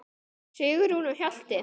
Sigrún og Hjalti.